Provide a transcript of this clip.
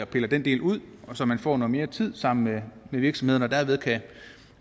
piller den del ud så man får noget mere tid sammen med virksomhederne